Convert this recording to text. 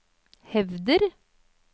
hevder